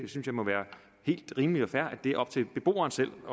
må være helt rimeligt og fair at det er op til beboeren selv at